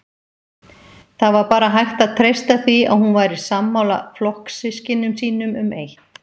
Það var bara hægt að treysta því að hún væri sammála flokkssystkinum sínum um eitt